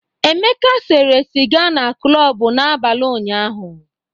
Emeka sẹ̀ré sịga na klọb n'abalị ụnyahụ.